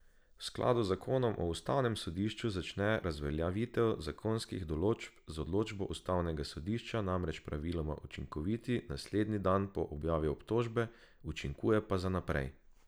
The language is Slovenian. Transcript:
V skladu z zakonom o ustavnem sodišču začne razveljavitev zakonskih določb z odločbo ustavnega sodišča namreč praviloma učinkovati naslednji dan po objavi odločbe, učinkuje pa za naprej.